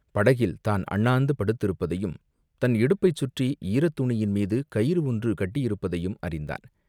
படகில் தான் அண்ணாந்து படுத்திருப்பதையும் தன் இடுப்பைச் சுற்றி ஈரத்துணியின் மீது கயிறு ஒன்று கட்டியிருப்பதையும் அறிந்தான்.